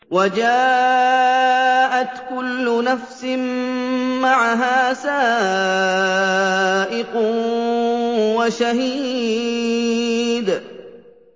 وَجَاءَتْ كُلُّ نَفْسٍ مَّعَهَا سَائِقٌ وَشَهِيدٌ